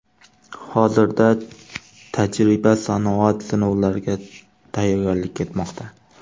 Hozirda tajriba-sanoat sinovlariga tayyorgarlik ketmoqda.